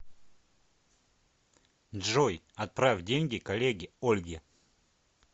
джой отправь деньги коллеге ольге